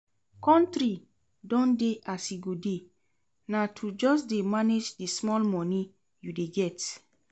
Country don dey as e go dey, na to just dey manage the small money you dey get